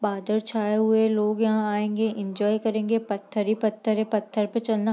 बादल छाए हुए हैं लोग यहां आएंगे एंजॉय करेंगे पत्थर ही पत्थर है पत्थर पे चलना --